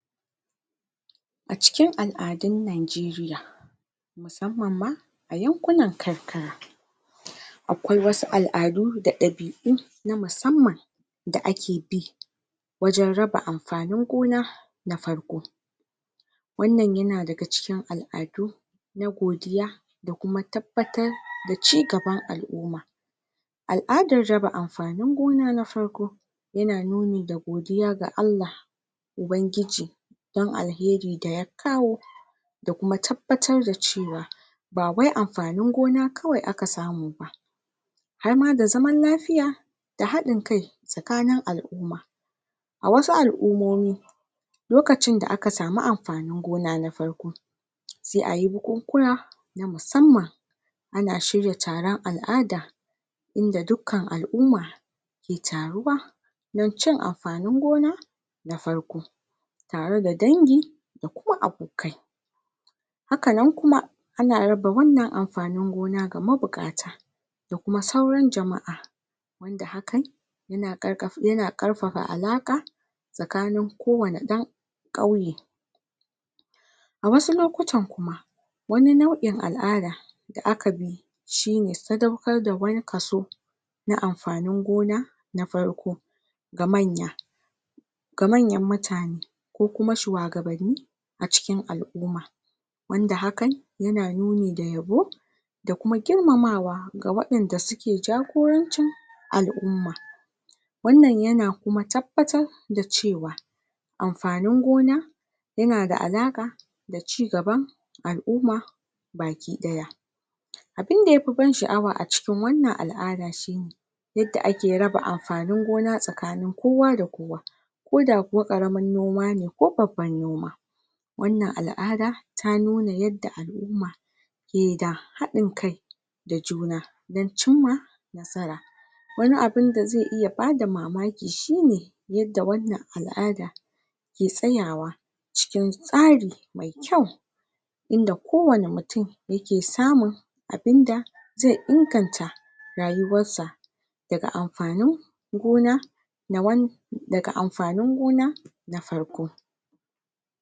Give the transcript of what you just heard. A cikin al'adun Nigeria musamman ma a yankunan karkara, akwai wasu al'adu da ɗabi'u na musamman da ake bi waje raba amfanin gona na farko, wannan ya na daga cikin al'adu na godiya da kuma tabbatar da cigaban al'umma. Al'adar raba amfanin gona na farko ya na nuni ga godiya ga Allah ubangiji don alheri da ya kawo, da kuma tabbatar da cewa ba wai amfanin gona kawai aka samu ba harma da zaman lafiya, da haɗin kai tsakanin al'umma, a wasu al'umomi lokacin da aka samu amfanin gona na farko sai ayi buku-kuna na musamman, ana shirya taron al'ada inda dukkan al'umma ke taruwa don cin amfanin gona na farko, ta re da dangi da kuma abokai, hakanan kuma ana raba wannan amfanin gona ga mabuƙata da kuma sauran jama'a, wanda hakan ya na ƙarfafa alaƙa tsakanin kowane ɗan ƙauye, a wasu lokutan kuma wani nau'in al'ada da aka bi shine sadaukar da wani kaso na amfanin gona na farko ga manya, ga manyan mutane, ko kuma shuwagabanni a cikin al'umma, wanda hakan ya na nuni da yabo da kuma girmamawa ga waɗanda su ke jagorancin al'umma, wannan ya na kuma tabbatar da ce wa amfanin gona ya na da alaƙa da cigaban al'umma baki ɗaya, abinda yafi ban sha'awa a cikin wannan al'ada shine yadda ake raba amfanin gona tsakanin kowa da kowa, koda kuwa ƙaramin noma ne ko babban noma, wannan al'ada ta nuna yadda al'umma ke da haɗin kai da juna don cimma nasara, wani abun da zai iya bada mamaki shine yadda wannan al'ada ke tsayawa cikin tsari mai kyau, yanda kowane mutu ya ke samun abinda zai inganta rayuwarsa, daga amfanin gona na wani daga amfanin gona na farko.